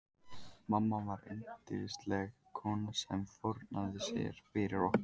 Mamma var yndisleg kona sem fórnaði sér fyrir okkur.